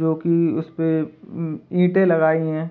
जो की उस पे ईंटे लगाई हैं।